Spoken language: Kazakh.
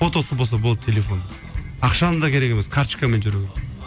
фотосы болса болды телефон ақшаның да керек емес карточкамен жүру керек